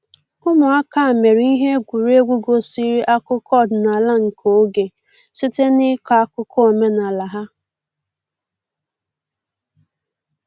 Ụmụaka mere ihe egwuregwu gosiri akụkọ ọdịnala nke oge site n’ịkọ akụkọ omenala ha.